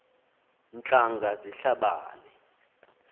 ntlanga zihla bane